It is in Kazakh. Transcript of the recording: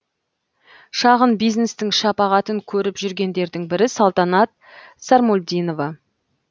шағын бизнестің шапағытын көріп жүргендердің бірі салтанат сармолдинова